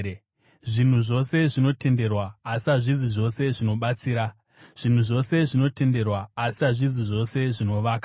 Zvinhu zvose zvinotenderwa, asi hazvisi zvose zvinobatsira. Zvinhu zvose zvinotenderwa, asi hazvisi zvose zvinovaka.